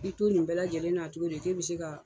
I bɛ to nin bɛɛ lajɛlen na cogodi kɛ b'i se ka.